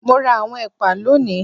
Mo ra àwọn ẹ̀pà lónìí